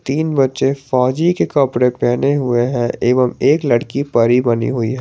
तीन बच्चे फौजी के कपड़े पहने हुए हैं एवं एक लड़की परी बनी हुई है।